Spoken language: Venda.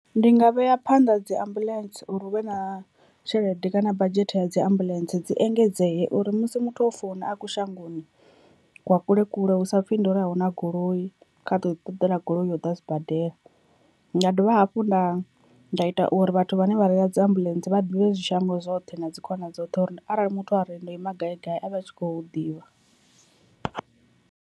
Ndi nga vhea phanḓa dzi ambuḽentse, uri hu vhe na tshelede kana badzhethe ya dzi ambuḽentse dzi engedzee, uri musi muthu o founa a kushangoni kwa kule kule hu sa pfhi ndi uri ahuna goloi kha to ḓi ṱoḓela goloi u ya u ḓa sibadela, nda dovha hafhu nda nda ita uri vhathu vhane vha reila dzi ambuḽentse vha ḓivhe zwi shango zwoṱhe na dzi khona dzoṱhe uri arali muthu a re ndo ima gai gai a vhe a tshi kho hu ḓivha.